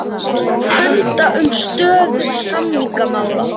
Funda um stöðu samningamála